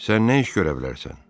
Sən nə iş görə bilərsən?